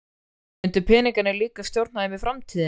Myndu peningarnir líka stjórna þeim í framtíðinni?